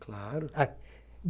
Claro. Ah